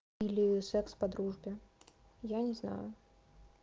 или секс по дружбе я не знаю